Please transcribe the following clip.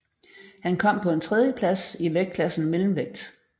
Han kom på en tredieplads i vægtklassen mellemvægt